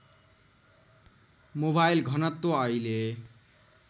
mobile घनत्व अहिले